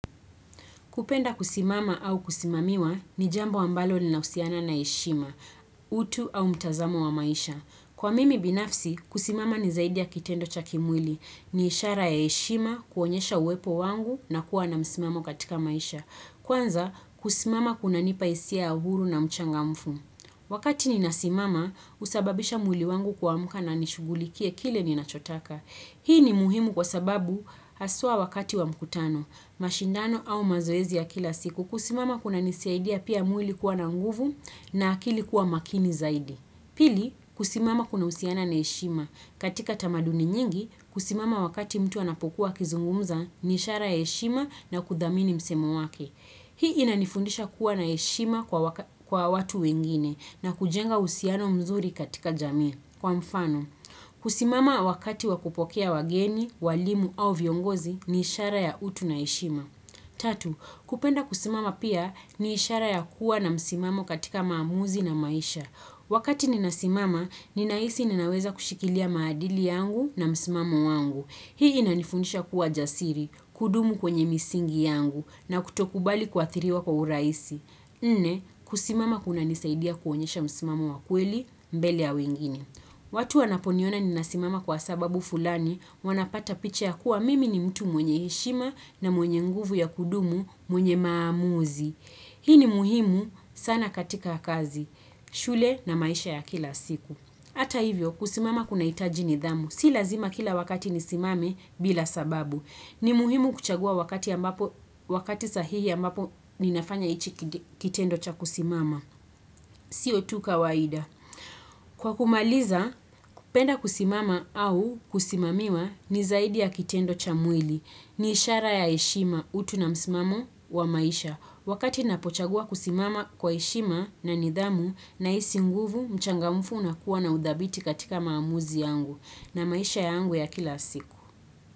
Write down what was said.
Kupenda kusimama au kusimamiwa ni jambo ambalo linahusiana na heshima, utu au mtazamo wa maisha. Kwa mimi binafsi, kusimama ni zaidi ya kitendo cha kimwili. Ni ishara ya heshima, kuonyesha uwepo wangu na kuwa na msimamo katika maisha. Kwanza, kusimama kunanipa hisia ya uhuru na mchangamfu. Wakati ninasimama, husababisha mwili wangu kuamka na nishughulikie kile ninachotaka. Hii ni muhimu kwa sababu haswa wakati wa mkutano, mashindano au mazoezi ya kila siku kusimama kuna nisaidia pia mwili kuwa na nguvu na akili kuwa makini zaidi. Pili kusimama kunahusiana na heshima katika tamaduni nyingi kusimama wakati mtu anapokuwa kuzungumza ni ishara ya heshima na kudhamini msemo wake. Hii inanifundisha kuwa na heshima kwa watu wengine na kujenga uhusiano mzuri katika jamii. Kwa mfano, kusimama wakati wakupokea wageni, walimu au viongozi ni ishara ya utu na heshima. Tatu, kupenda kusimama pia ni ishara ya kuwa na msimamo katika maamuzi na maisha. Wakati ninasimama, ninahisi ninaweza kushikilia maadili yangu na msimamo wangu. Hii inanifunisha kuwa jasiri, kudumu kwenye misingi yangu na kutokubali kuathiriwa kwa urahisi. Nne, kusimama kunanisaidia kuonyesha msimamo wa kweli mbele ya wengine. Watu wanaponiona ninasimama kwa sababu fulani wanapata picha ya kuwa mimi ni mtu mwenye heshima na mwenye nguvu ya kudumu mwenye maamuzi. Hii ni muhimu sana katika kazi, shule na maisha ya kila siku. Hata hivyo, kusimama kunahitaji nidhamu. Si lazima kila wakati nisimame bila sababu. Ni muhimu kuchagua wakati sahihi ambapo ninafanya hichi kitendo cha kusimama. Sio tu kawaida. Kwa kumaliza, kupenda kusimama au kusimamiwa ni zaidi ya kitendo cha mwili. Ni ishara ya heshima utu na msimamo wa maisha. Wakati ninapochagua kusimama kwa heshima na nidhamu nahisi nguvu, mchangamfu nakuwa na udhabiti katika maamuzi yangu na maisha yangu ya kila siku.